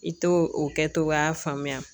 I t'o o kɛ togoya faamuya